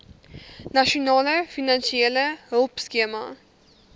nasionale finansiële hulpskema